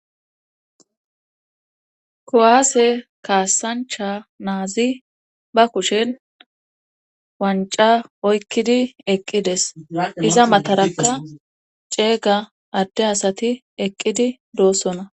Koaase kaasancha naazi ba kushen wanca oykkidi eqqides iza mataraka ceega adde asati eqqidi doossona.